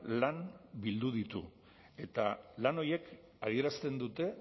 lan bildu ditu eta lan horiek adierazten dute